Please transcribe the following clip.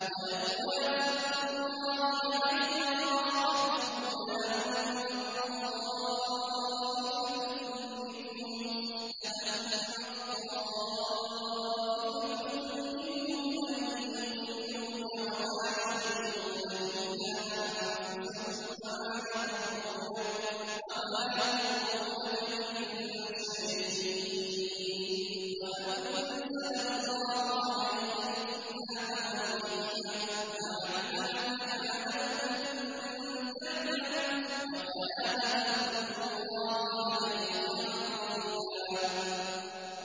وَلَوْلَا فَضْلُ اللَّهِ عَلَيْكَ وَرَحْمَتُهُ لَهَمَّت طَّائِفَةٌ مِّنْهُمْ أَن يُضِلُّوكَ وَمَا يُضِلُّونَ إِلَّا أَنفُسَهُمْ ۖ وَمَا يَضُرُّونَكَ مِن شَيْءٍ ۚ وَأَنزَلَ اللَّهُ عَلَيْكَ الْكِتَابَ وَالْحِكْمَةَ وَعَلَّمَكَ مَا لَمْ تَكُن تَعْلَمُ ۚ وَكَانَ فَضْلُ اللَّهِ عَلَيْكَ عَظِيمًا